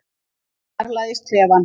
Hún fjarlægist klefann.